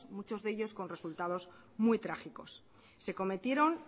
muchos de ellos con resultados muy trágicos se cometieron